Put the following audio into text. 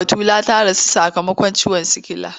Batulu ta rasu sakamakon ciwon sikila.